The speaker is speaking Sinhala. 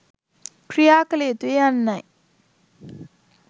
ක්‍රියා කළ යුතුය යන්නයි.